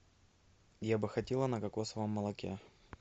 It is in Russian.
я бы хотела на кокосовом молоке